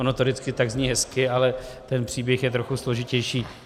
Ono to vždycky zní tak hezky, ale ten příběh je trochu složitější.